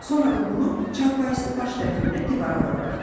Sonra da bunu çarpayısının baş tərəfində divara vurarıq.